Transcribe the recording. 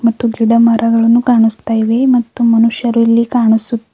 ಮತ್ತು ಗಿಡ ಮರಗಳನ್ನು ಕಾಣಸ್ತಾ ಇವೆ ಮತ್ತು ಮನುಷ್ಯರು ಇಲ್ಲಿ ಕಾಣುಸು--